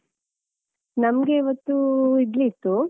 ನಮ್ಗೆ ಇವತ್ತು ಇಡ್ಲಿ ಇತ್ತು.